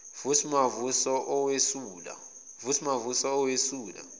vusi mavuso owesula